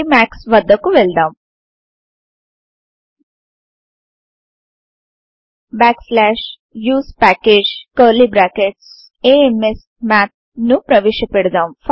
ఎమాక్స్ వద్దకు వెళ్దాం usepackageamsmath ను ప్రవేశ పెడుదాం